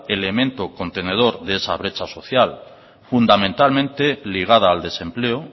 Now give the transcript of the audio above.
elemento contenedor de esa brecha social fundamentalmente ligada al desempleo